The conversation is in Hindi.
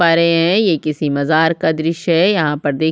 पा रहै है ये किसी मज़ार का द्र्श्य है यहाँ पर देखिए --